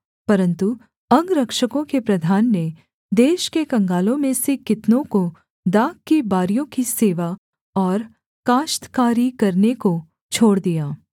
परन्तु अंगरक्षकों के प्रधान ने देश के कंगालों में से कितनों को दाख की बारियों की सेवा और काश्तकारी करने को छोड़ दिया